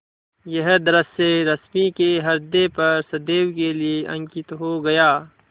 यह दृश्य रश्मि के ह्रदय पर सदैव के लिए अंकित हो गया